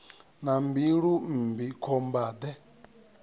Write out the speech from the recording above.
na mbilu mmbi khomba de